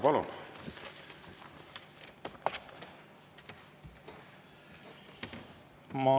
Palun!